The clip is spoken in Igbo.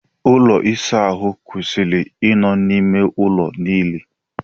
Ụlọ ịsa ahụ kwesịrị i nọ n'ime ụlọ niile.